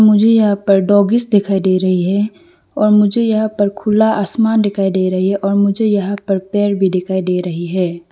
मुझे यहा पर डांगीस दिखाई दे रही है और मुझे यहां पर खुला आसमान दिखाई दे रही है और मुझे यहां पर पेड़ भी दिखाई दे रही है।